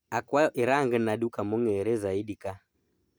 Akwayo irangna duka mongere zaidi kaa